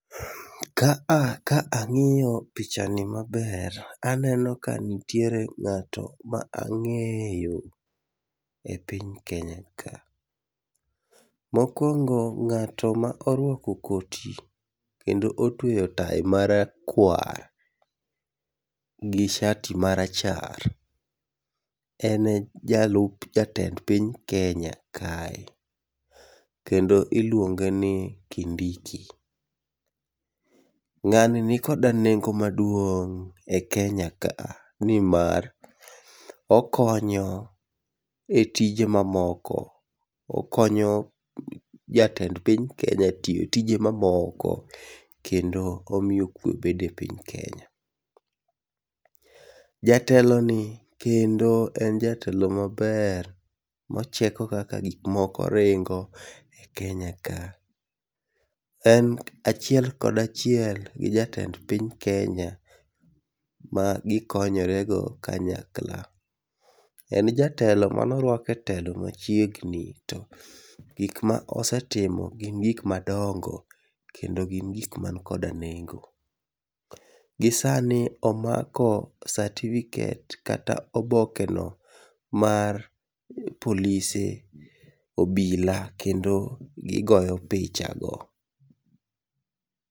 Kaa ka ang'iyo picha ni maber to aneno ka nitie ng'ato ma ang'eyo e piny Kenya ka. Mokuongo ng'ato ma orwako koti kendo otweyo tayi ma rakwar ,gi shati ma rachar, en jalup jatend piny Kenya kae kendo iluonge ni Kindiki. Ng'ani ni koda nengo maduong' e Kenya ka ni mar okonyo e tije ma moko okonyo jatend piny Kenya tiyo tije ma moko kendo omiyo kwe bedo e piny Kenya . Jatelo ni kendo en jatelo maber ma cheko kaka gik moko ringo e Kenya ka en achiel kod achiel gi jatend piny kenya ma gi konyore go kanyakla en jatelo ma ne orwak e telo ma chiegnni to gik ma osetimo gin gik madongo kendo gin gik ma ni koda nengo, gi sani omako certificate kata oboke no mar polise obila kendo gi goyo picha go